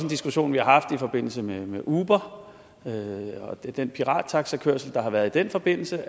diskussion vi har haft i forbindelse med uber og den pirattaxakørsel der har været i den forbindelse